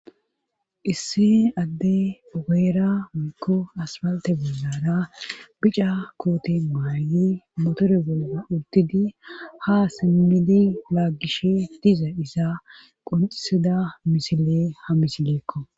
issi adde ogeera mikko asbalte bollara bica kooti maayyi motore bolga urdidi ha simmidi laagishe diza isa qonxisida misile ha misigeekko